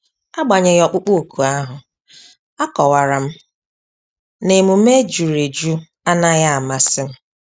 Agbanyeghi ọkpụkpọ ọkụ ahu, a kọwara m na-emume ejuru eju anaghị amasị m